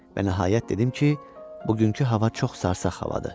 Və nəhayət dedim ki, bugünkü hava çox sarsaq havadır.